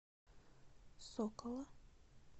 сокола